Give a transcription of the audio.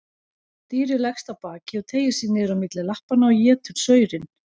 Dýrið leggst á bakið og teygir sig niður á milli lappanna og étur saurinn.